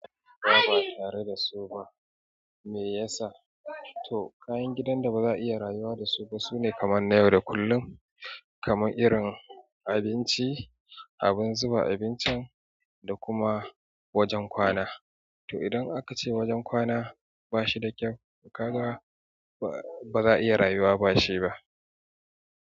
Bama tare da su ma, me yasa? To kayan gidan da ba za'a iya rayuwa da su ba sune kaman na yau da kullun, kamanbirin abinci, abun zuba abincin da kuma wajen kwana. To idan aka ce wajen kwana ba shi da kyau ka ga ba, ba za'a iya rayuwa ba shi ba.